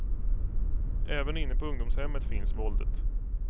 Även inne på ungdomshemmet finns våldet.